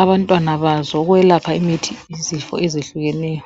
abantwana bazo ukwelapha izifo ezehlukeneyo